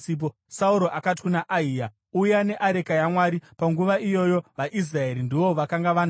Sauro akati kuna Ahiya, “Uya neareka yaMwari.” (Panguva iyoyo vaIsraeri ndivo vakanga vanayo.)